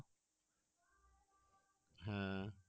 হ্যাঁ